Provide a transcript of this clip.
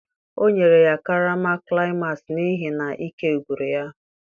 o nyere ya karama climax n'ihi na ike gwụrụ ya